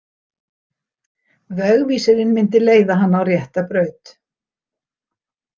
Vegvísirinn myndi leiða hana á rétta braut.